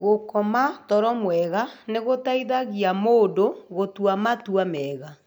Gũkoma toro mwega nĩ gũteithagia mũndũ gũtua matua mega.